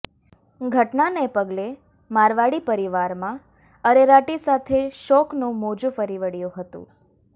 ઘટનાને પગલે મારવાડી પરિવારમાં અરેરાટી સાથે શોકનું મોજુ ફરી વળ્યું હતુ